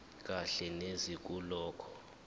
kahle neze kulokho